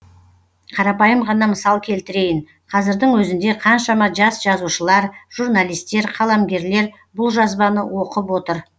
қарапайым ғана мысал келтірейін қазірдің өзінде қаншама жас жазушылар журналисттер қаламгерлер бұл жазбаны оқып отыр